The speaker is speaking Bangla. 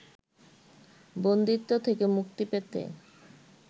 বন্দিত্ব থেকে মুক্তি পেতে